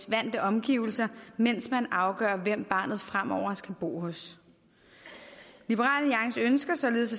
vante omgivelser mens man afgør hvem barnet fremover skal bo hos liberal alliance ønsker således